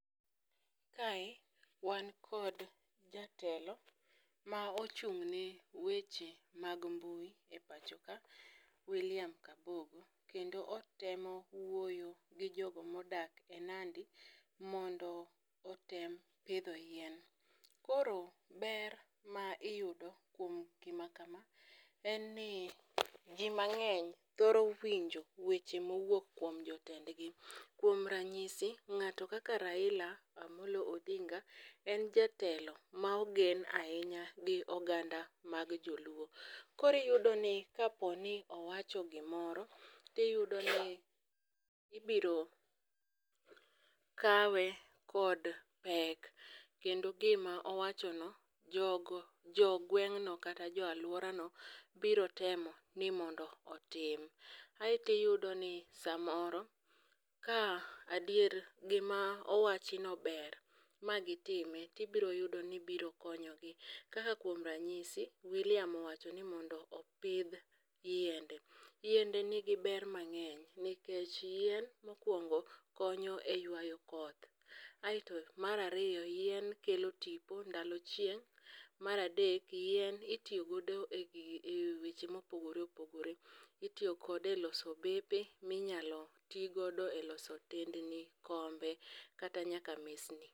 Kae wan kod jatelo ma ochung'ne weche mag mbui e pacho ka William Kabogo kendo otemo wuoyo gi jogo modak e Nandi mondo otem pidho yien, koro ber ma iyudo kuom gima kama en ni ji mang'eny thoro winjo mawuok kuom jotendgi, kuom ranyisi ng'ato kaka Raila Amollo Odinga en jatelo ma ogen ahinya gi oganda mag joluo, koro iyudoni kapo ni owacho gimoro tiyudo ni ibiro kawe kod pek kendo gima owachono jogweng'no kata jo alworano biro temo ni mondo otim, aeto iyudoni samoro ka adier gima owachno ber ma gitime to ibiro yudo ni biro konyogi, kaka kuom ranyisi William owacho ni mondo opidh yiende, yiende nigi ber mang'eny nikech yien mokwongo konyo e ywayo koth, aeto mar ariyo, yien kelo tipo ndalo chieng',mar adek yien itiyo godo e weche mopogore opogore. Itiyo kode e loso bepe minyalo ti godo e loso otendni, kombe kata nyaka mesni.